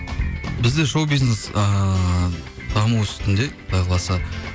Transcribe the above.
бізде шоу бизнес ыыы даму үстінде құдай қаласа